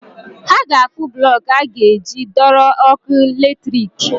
Ha ga-akpụ blọk e a ga-eji dọrọ ọkụ latrik.